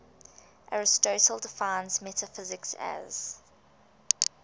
aristotle defines metaphysics as